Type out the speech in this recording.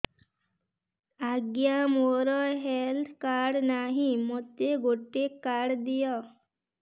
ଆଜ୍ଞା ମୋର health card ନାହିଁ ମୋତେ ଗୋଟେ କାର୍ଡ ଦିଅ